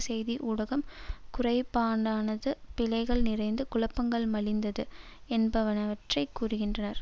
செய்தி ஊடகம் குறைபாடானது பிழைகள் நிறைந்தது குழப்பங்கள் மலிந்தது என்பவற்றை கூறுகின்றர்